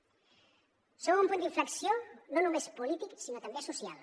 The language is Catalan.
som un punt d’inflexió no només polític sinó també social